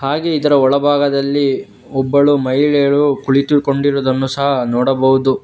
ಹಾಗೆ ಇದರ ಒಳಭಾಗದಲ್ಲಿ ಒಬ್ಬಳು ಮಹಿಳೆಯಳು ಕುಳಿತುಕೊಂಡಿರುವುದನ್ನು ಸಹಾ ನೋಡಬಹುದು.